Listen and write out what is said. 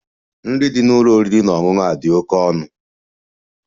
Nri dị n'ụlọ oriri na ọṅụṅụ a dị oke ọnụ.